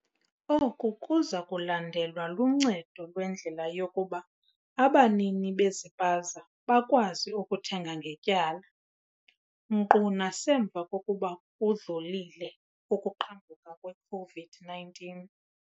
"Oku kuza kulandelwa luncedo lwendlela yokuba abanini bezipaza bakwazi ukuthenga ngetyala, nkqu nasemva kokuba kudlulile ukuqhambuka kwe-COVID-19."